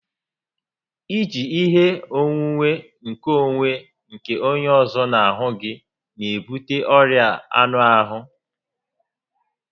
I ji ihe onwunwe nkeonwe nke onye ọzọ n'ahụ gị n'ebute ọrịa anụ ahụ